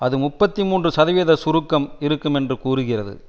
அது முப்பத்தி மூன்று சதவீத சுருக்கம் இருக்கும் என்று கூறுகிறது